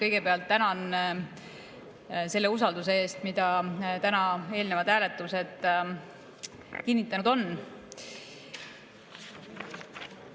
Kõigepealt tänan selle usalduse eest, mida tänased eelnevad hääletused kinnitanud on.